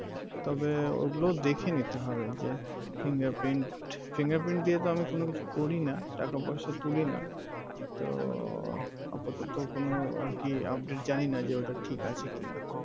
তবে ওই গুলোও দেখে নিতে হবে fingerprint, fingerprint দিয়ে তো আমি কোন কিছু করিনা টাকা পয়সা তুমিনা তো উহ আপাতত কোন আরকি Update জানিনা যে ঐটা ঠিক আছেকিনা